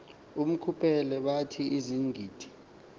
uquphile bathi izigidi